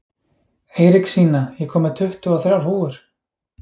Eiríksína, ég kom með tuttugu og þrjár húfur!